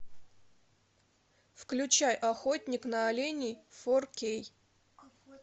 включай охотник на оленей фор кей